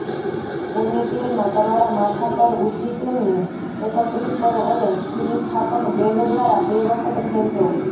પોનીટેલમાં તમારા માથા પર ઊંચી તેમને એકત્રિત કરો અને સ્થિતિસ્થાપક બેન્ડ દ્વારા બે વખત ખેંચો